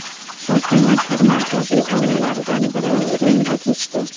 Shu kuni tur markaziy o‘yinlaridan biri Rimda kechdi.